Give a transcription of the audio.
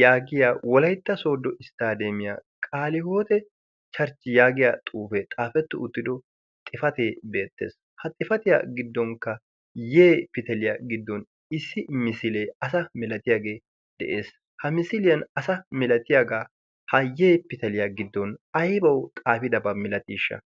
yaagiya wolaytta soodo isttaadeemiyaa qaalihoote charchchi yaagiya xuufee xaafettu uttido xifatee beettees ha xifatiyaa giddonkka yee pitaliyaa giddon issi misilee asa milatiyaagee de'ees ha misiliyan asa milatiyaagaa hayyee pitaliyaa giddon aybawu xaafidabaa milatiishsha